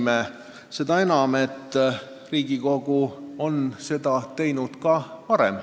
Tõesti seda enam, et Riigikogu on seda teinud ka varem.